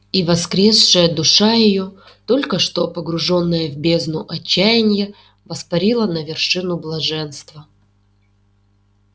и воскресшая душа её только что погружённая в бездну отчаяния воспарила на вершину блаженства